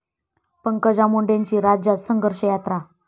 पंकजा मुंडेंची राज्यात संघर्ष यात्रा